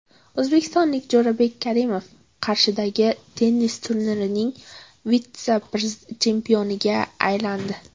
O‘zbekistonlik Jo‘rabek Karimov Qarshidagi tennis turnirining vitse-chempioniga aylandi.